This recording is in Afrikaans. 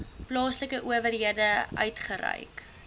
plaaslike owerheid uitgereik